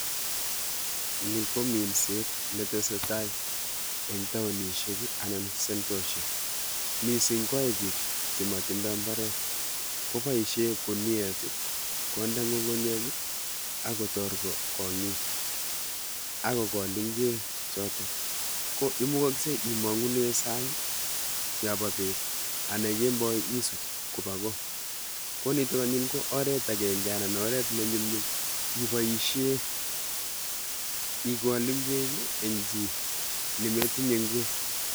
Ni ko minset netesetai eng taonishek anan sentoshek. Mising kwoe biik chemotindoi mbaret, koboishe guniet, konde ng'ung'unyek akotor kong'ik akokol ng'wek choto ko imukoksei imong'une sang yopo bet ana kemboi isut kopa ko. Ko nitok anyun ko oret akenke anan oret nenyumnyum iboishe ikol ng'wek eng chi nimetinye ng'wek.